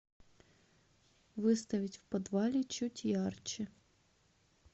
выставить в подвале чуть ярче